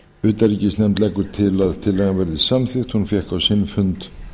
utanríkisnefnd leggur til að tillagan verði samþykkt hún fékk á sinn fund